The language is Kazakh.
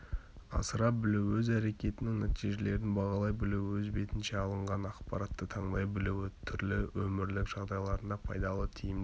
асыра білуі-өз әрекетінің нәтижелерін бағалай білуі-өз бетінше алынған ақпаратты таңдай білуі-түрлі өмірлік жағдайларында пайдалы тиімді